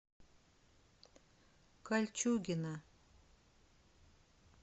кольчугино